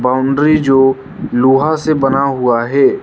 Boundary जो लोहा से बना हुआ है।